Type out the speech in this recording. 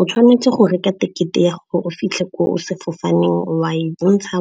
O tshwanetse go reka tekete ya gore o fitlhe ko o sefofaneng, wa e bontsha,